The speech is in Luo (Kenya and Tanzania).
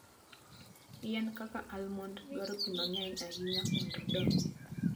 Yien kaka almond dwaro pi mang'eny ahinya mondo odongi.